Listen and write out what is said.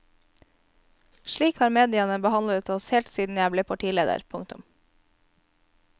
Slik har mediene behandlet oss helt siden jeg ble partileder. punktum